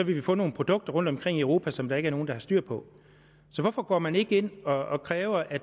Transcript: vi vil få nogle produkter rundt omkring i europa som der ikke er nogen der har styr på så hvorfor går man ikke ind og kræver at